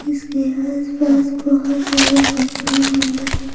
इसके आसपास बहुत सारा घुट्टी होगा--